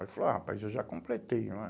Ele falou, ah, rapaz, eu já completei, não é?